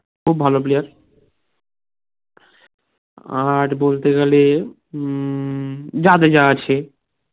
খুব ভালো player আর বলতে গেলে উম জাদেজা আছে